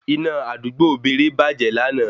Iná àdúgbò Beere bàjẹ́ lana